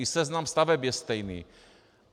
I seznam staveb je stejný.